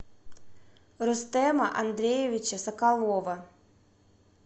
рустема андреевича соколова